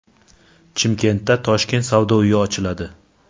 Chimkentda Toshkent savdo uyi ochiladi.